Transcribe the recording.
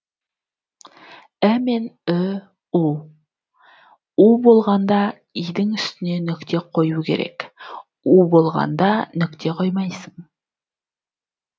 і мен ү у у болғанда и дің үстіне нүкте қою керек у болғанда нүкте қоймайсың